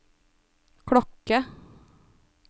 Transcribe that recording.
klokke